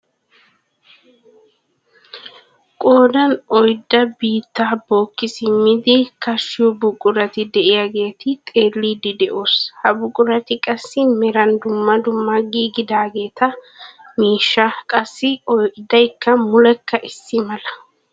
Qoodan oyddaa biittaa bookki simmidi kaashiyo buqurati de'iyaageta xeelliidi de'oos. ha buqurati qassi meran dumma dumma gididageti miishshaa qassi oydaykka mulekka issi mala.